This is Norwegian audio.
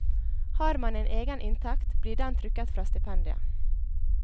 Har man en egen inntekt, blir den trukket fra stipendiet.